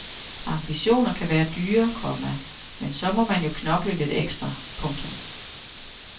Ambitioner kan være dyre, komma men så må man jo bare knokle lidt ekstra. punktum